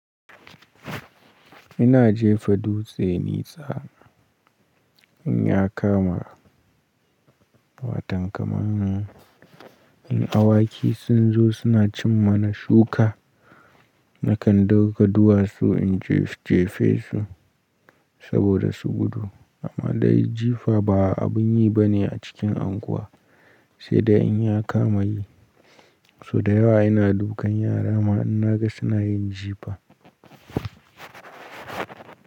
Ina jefa dutse nesa in ya kama. Watan kamanni in awaki sun zo suna cin mana shuka, nakan ɗauko duwatsu in jefesu saboda su gudu. Amma dai jifa ba abun yi bane a cikin anguwa, sai dai in ya kama yi. So da yawa ina dukan yara ma in naga suna yin jifa.